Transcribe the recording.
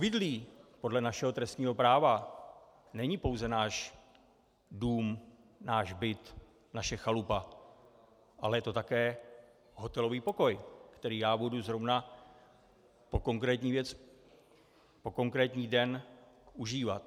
Obydlí podle našeho trestního práva není pouze náš dům, náš byt, naše chalupa, ale je to také hotelový pokoj, který já budu zrovna po konkrétní věc, po konkrétní den užívat.